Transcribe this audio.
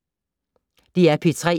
DR P3